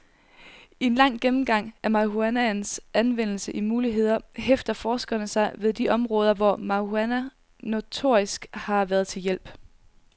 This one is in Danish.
I en lang gennemgang af marihuanaens anvendelse og muligheder hæfter forskerne sig ved de områder, hvor marihuana notorisk har været til hjælp.